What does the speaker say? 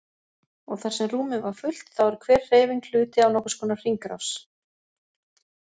Og þar sem rúmið var fullt þá er hver hreyfing hluti af nokkurs konar hringrás.